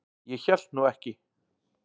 Ég hélt nú ekki.